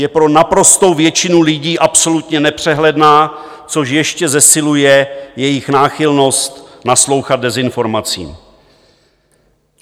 Je pro naprostou většinu lidí absolutně nepřehledná, což ještě zesiluje jejich náchylnost naslouchat dezinformacím.